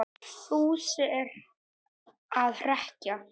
Fúsi er að hrekkja